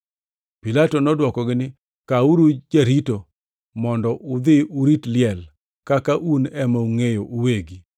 Pilato nodwokogi niya, “Kawuru jarito mondo udhi urit liel kaka un ema ungʼeyo uwegi.”